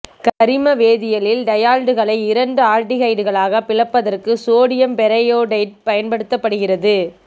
கரிம வேதியியலில் டையால்களை இரண்டு ஆல்டிகைடுகளாக பிளப்பதற்கு சோடியம் பெரயோடேட்டு பயன்படுத்தப்படுகிறது